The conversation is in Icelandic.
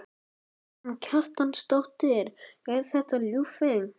Karen Kjartansdóttir: Er þetta ljúffengt?